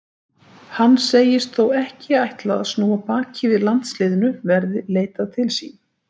Hann segist þó ekki ætla að snúa baki við landsliðinu verði leitað til sín.